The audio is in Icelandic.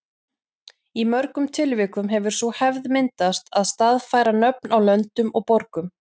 Í mörgum tilvikum hefur sú hefð myndast að staðfæra nöfn á löndum og borgum.